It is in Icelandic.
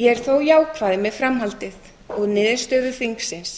ég er þó jákvæð með framhaldið og niðurstöðu þingsins